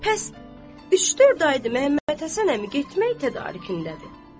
Pəs, üç-dörd aydır Məhəmməd Həsən əmi getmək tədarükündədir.